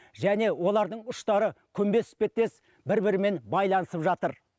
және олардың ұштары күмбез іспеттес бір бірімен байланысып жатыр